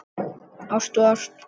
Ást og ást.